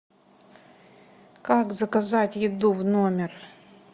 как заказать еду в номер